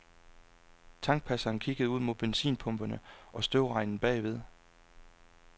Tankpasseren kiggede ud mod benzinpumperne og støvregnen bagved.